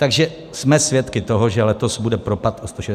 Takže jsme svědky toho, že letos bude propad o 165 mld.